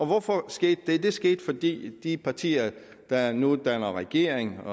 hvorfor skete det det skete fordi de partier der nu danner regering